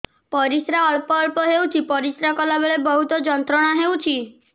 ପରିଶ୍ରା ଅଳ୍ପ ଅଳ୍ପ ହେଉଛି ପରିଶ୍ରା କଲା ବେଳେ ବହୁତ ଯନ୍ତ୍ରଣା ହେଉଛି